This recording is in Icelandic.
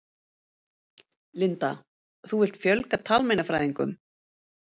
Linda: Þú vilt fjölga talmeinafræðingum?